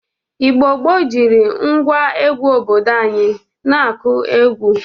Igbo gboo jiri ngwa egwu obodo anyị na-akụ egwu.